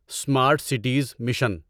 smart cities mission